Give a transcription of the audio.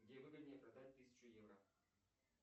где выгоднее продать тысячу евро